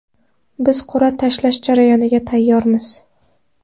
Biz qur’a tashlash jarayoniga tayyormiz.